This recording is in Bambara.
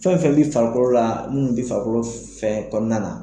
Fɛn o fɛn bi farikolo la minnu be farikolo fɛn kɔɔna na